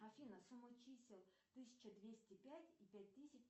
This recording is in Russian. афина сумма чисел тысяча двести пять и пять тысяч